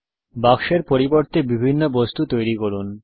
বাক্সের পরিবর্তে বিভিন্ন বস্তু তৈরী করুন